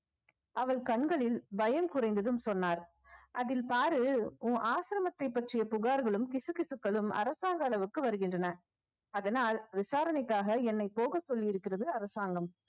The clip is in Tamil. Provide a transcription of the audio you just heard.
அவள் கண்களில் பயம் குறைந்ததும் சொன்னார் அதில் பாரு உன் ஆசிரமத்தைப் பற்றிய புகார்களும் கிசுகிசுக்களும் அரசாங்க அளவுக்கு வருகின்றன அதனால் விசாரணைக்காக என்னை போகச் சொல்லி இருக்கிறது அரசாங்கம்